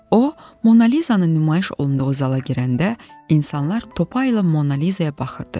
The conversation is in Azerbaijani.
O Monaliza-nın nümayiş olunduğu zala girəndə insanlar topayla Monaliza-ya baxırdı.